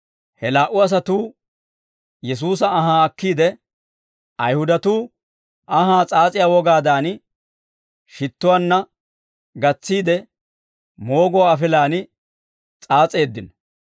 He laa"u asatuu Yesuusa anhaa akkiide, Ayihudatuu anhaa s'aas'iyaa wogaadan, shittuwaanna gatsiide, mooguwaa afilaan s'aas'eeddino.